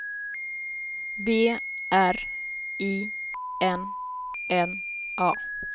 B R I N N A